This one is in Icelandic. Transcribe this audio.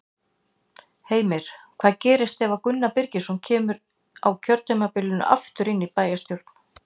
Heimir: Hvað gerist ef að Gunnar Birgisson kemur á kjörtímabilinu aftur inn í bæjarstjórn?